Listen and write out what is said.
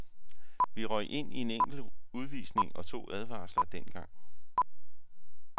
Vi røg ind i en enkelt udvisning og to advarsler dengang.